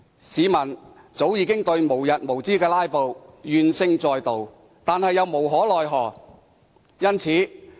市民早已對無日無之的"拉布"怨聲載道，但又無可奈何。